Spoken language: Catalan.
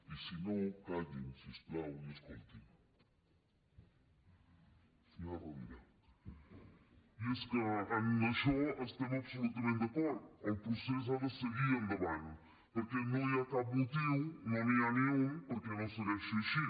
i és que en això estem absolutament d’acord el procés ha de seguir endavant perquè no hi ha cap motiu no n’hi ha ni un perquè no segueixi així